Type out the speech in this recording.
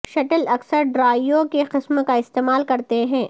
shuttle اکثر drive کی قسم کا استعمال کرتے ہیں